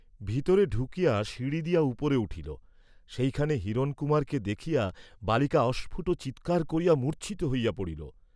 ভিতরে ঢুকিয়া সিঁড়ি দিয়া উপরে উঠিল, সেইখানে হিরণকুমারকে দেখিয়া বালিকা অস্ফুট চীৎকার করিয়া মূর্চ্ছিত হইয়া পড়িল।